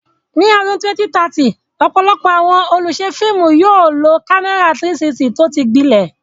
Ní ọdún 2030, ọ̀pọ̀lọpọ̀ àwọn olùṣe fíìmù yóò lo kámẹ́rà 360 tó ti gbilẹ̀.